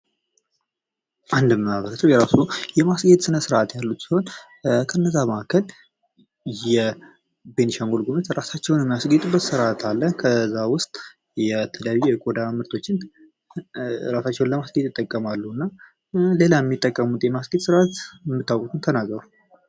አንድ ማህበረሰብ የራሱ የማስጌ ስነ ስርዓ ያሉት ሲሆን ከእነዛ መካከል የቤንሻንጉል ጉሙዝ እራሳቸውን እራሳቸውን የሚያስጌጥበት ስርአት አለ ከዛ ውስጥ የተለያዩ የቆዳ ምርቶችን ራሳቸውን ለማስኬድ ይጠቀማሉ እና ሌላ የምታውቁት የማስጌ ስነ ስርዓት የምታውቁትን ተናገሩ?